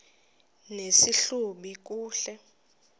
nesi hlubi kule